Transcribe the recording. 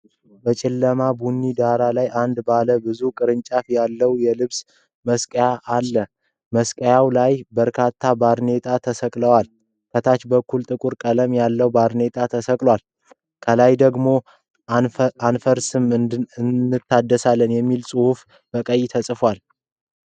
በጨለማ ቡኒ ዳራ ላይ አንድ ባለ ብዙ ቅርንጫፎች ያሉት የልብስ መስቀያ አለ። በመስቀያው ላይ በርካታ ባርኔጣዎች ተሰቅለዋል። ከታች በኩል ጥቁር ቀለም ያለው ባርኔጣ ተሰቅሏል። ከላይ ደግሞ "አንፈርስም አንታደስም" የሚል ጽሑፍ በቀይ ተጽፏል።